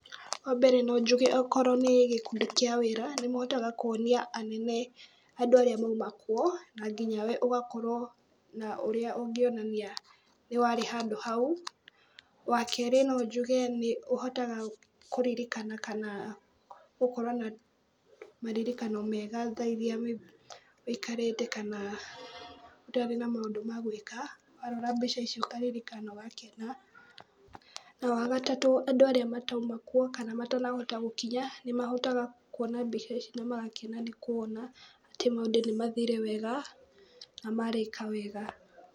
Wa mbere no njuge okorwo nĩ gĩkundi kĩa wĩra nĩ mũhotaga kuonia anene andũ arĩa mauma kwo na nginya we ugakorwo na ũrĩa ũngĩonania nĩ warĩ handũ hau. Wakerĩ no njuge nĩ ũhotaga kũririkana kana gũkorwo na maririkano mega thairia wĩikarĩte kana ũtarĩ na maũndũ magwĩka warora mbica icio ũkaririkana ũgakena. Na wagatatũ andũ arĩa matauma kuo kana matanahota gũkinya nĩ mahotaga kuona mbica ici na magakiena nĩ kuona atĩ maũndũ nĩ mathire wega na marĩka wega.